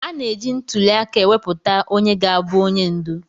A na-eji ntuli aka ewepụta onye ga-abụ onye ndu.